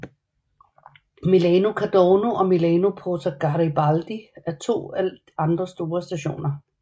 Milano Cadorna og Milano Porta Garibaldi er to af de andre store stationer